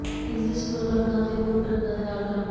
ਇਸਦੇ ਸਮਰੂਪ ਰੰਗਾਂ ਅਤੇ ਪੂਰਕ ਰੰਗ ਦੇ ਨਾਲ ਕਰੋ